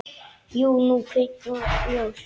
Jú, nú kviknar ljós.